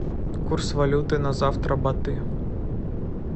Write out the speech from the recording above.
курс валюты на завтра баты